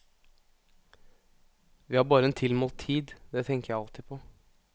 Vi har bare en tilmålt tid, det tenker jeg alltid på.